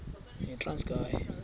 yitranskayi